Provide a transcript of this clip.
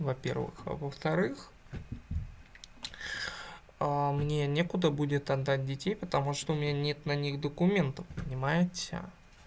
во-первых а во-вторых мне некуда будет отдать детей потому что у меня нет на них документов понимаете